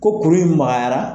Ko kulu in magayara.